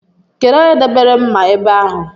Kedụ onye debere mma ebe ahụ?